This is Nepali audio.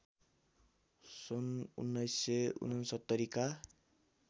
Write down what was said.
सन् १९६९ का